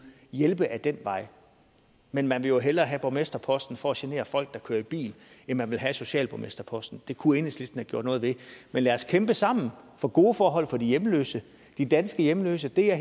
hjælpe ad den vej men man vil jo hellere have borgmesterposten for at genere folk der kører i bil end man vil have socialborgmesterposten det kunne enhedslisten have gjort noget ved men lad os kæmpe sammen for gode forhold for de hjemløse de danske hjemløse det er